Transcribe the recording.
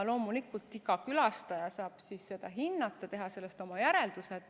Loomulikult saab iga külastaja seda hinnata ja teha sellest oma järeldused.